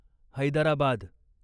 Hyderabad